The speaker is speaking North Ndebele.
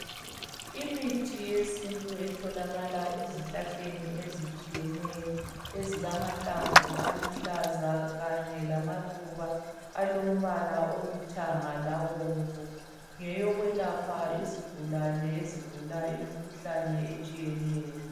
Imithi yesintu etholakala ezihlahleni ezitshiyeneyo ezilamahlamvu aluhlaza kanye lamaluba alombala olithanga labomvu, ngeyokwelapha izigulane ezigula imikhuhlane etshiyeneyo.